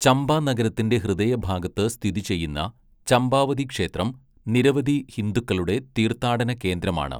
ചമ്പ നഗരത്തിന്റെ ഹൃദയഭാഗത്ത് സ്ഥിതി ചെയ്യുന്ന ചമ്പാവതി ക്ഷേത്രം നിരവധി ഹിന്ദുക്കളുടെ തീർത്ഥാടന കേന്ദ്രമാണ്.